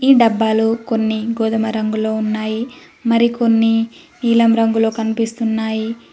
ఈ డబ్బాలు కొన్ని గోధుమ రంగులో ఉన్నాయి మరికొన్ని నీలం రంగులో కనిపిస్తున్నాయి.